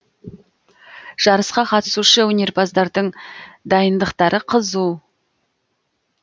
жарысқа қатысушы өнерпаздардың дайындықтары қызу